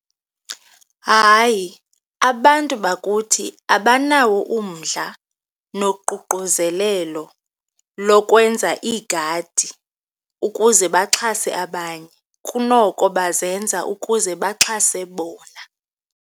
Hayi, abantu bakuthi abanawo umdla nokuququzelelo lokwenza iigadi ukuze baxhase abanye, kunoko bazenza ukuze baxhase bona.